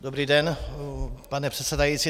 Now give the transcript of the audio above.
Dobrý den, pane předsedající.